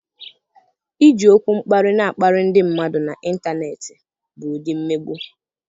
Iji okwu mkparị na-akparị ndị mmadụ n'ịntanetị bụ ụdị mmegbu.